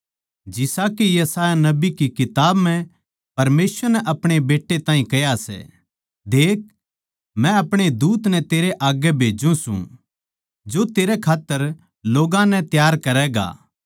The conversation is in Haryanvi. जिसा के यशायाह नबी की किताब म्ह परमेसवर नै आपणे बेट्टे ताहीं कह्या सै देख मै अपणे दूत नै तेरै आग्गै भेज्जू सूं जो तेरै खात्तर लोग्गां नै तैयार करैगा